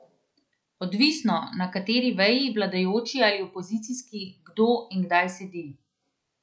Odvisno, na kateri veji, vladajoči ali opozicijski, kdo in kdaj sedi.